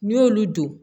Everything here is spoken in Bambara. N'i y'olu don